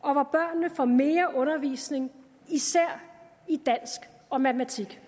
og hvor børnene får mere undervisning især i dansk og matematik